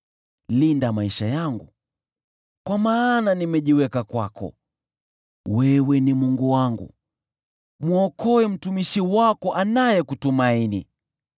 Linda maisha yangu, kwa maana nimejiweka kwako, wewe ni Mungu wangu, mwokoe mtumishi wako anayekutumaini.